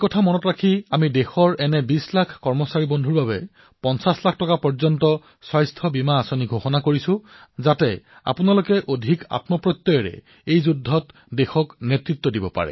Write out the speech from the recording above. সেইবাবে প্ৰায় ২০ লাখ এনে সতীৰ্থৰ বাবে ৫০ লাখ টকা পৰ্যন্ত স্বাস্থ্যবীমাৰ ঘোষণা চৰকাৰে কৰিছে যাতে আপোনালোকে এই যুদ্ধত অধিক আত্মবিশ্বাসেৰে দেশক নেতৃত্ব প্ৰদান কৰিব পাৰে